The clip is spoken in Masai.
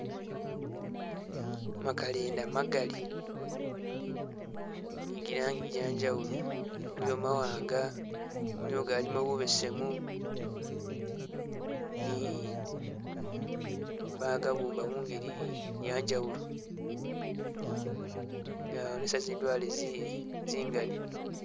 Makalenda magali ni gilangi gye njawulo. Waliwo mawanga, nigo galimo bubesemu ni bagabumba mungeli ye njawulo. Gawonesa zindwale zi zingali.